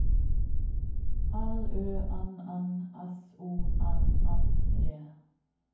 L Ø N N S O M M E